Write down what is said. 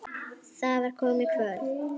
Það var komið kvöld.